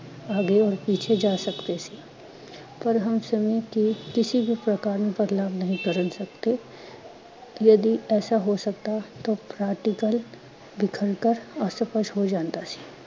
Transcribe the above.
ਆਗੇ ਔਰ ਪੀਛੇ ਜਾ ਸਕਦੇ ਸੀ। ਪਰ ਹਮ ਸਮੇ ਕੇ ਕਿਸੀ ਵੀ ਪ੍ਕਾਰ ਮੇ ਬਦਲਾਵ ਨਹੀਂ ਕਰਣ ਸਕਦੇ, ਯਦੀ ਏਸਾ ਹੋ ਸਕਤਾ ਤੋ ਹੋ ਜਾਂਦਾ ਸੀ।